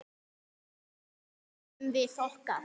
Þar nutum við okkar.